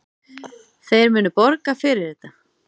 Þeir munu borga fyrir þetta.